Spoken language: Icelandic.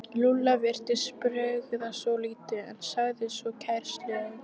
Lúlla virtist bregða svolítið en sagði svo kæruleysislega.